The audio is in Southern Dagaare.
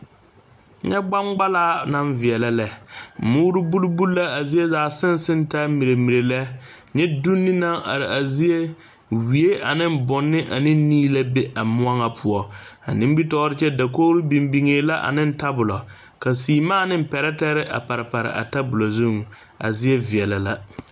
Nyɛ gbangbalaa naŋ veɛlɛ lɛ muuri buli buli la a zie zaa seŋ seŋ taa miirie miire lɛ nyɛ donne naŋ are a zie wie ane bonne ane nii la be a moɔ ŋa poɔ a nimitɔre kyɛ dakori biŋ biŋ la ane tabolɔ ka seemaa ane tabolɔ pare pare a tabolɔ zuŋ a zie veɛlɛ la.